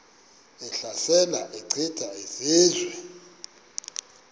ehlasela echitha izizwe